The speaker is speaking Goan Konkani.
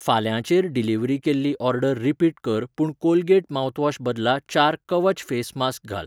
फाल्यां चेर डिलिव्हरी केल्ली ऑर्डर रिपीट कर पूण कोलगेट माउथवॉश बदला चार कवच फेस मास्क घाल.